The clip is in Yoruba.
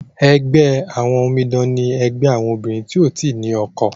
ègbé àwọn òmìdan ní ègbé àwọn obìrin tíó tí ní ọkọ.